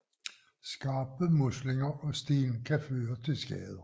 Skarpe muslinger og sten kan føre til skader